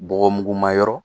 Bɔgɔmuguma yɔrɔ